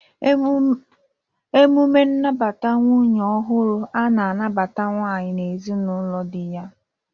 Emume nnabata nwunye ọhụrụ na-anabata nwanyị n'ezinaụlọ di ya.